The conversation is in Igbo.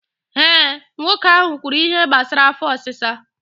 Eh, nwoke ahụ kwuru ihe gbasara afọ ọsịsa